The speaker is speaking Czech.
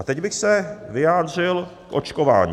A teď bych se vyjádřil o očkování.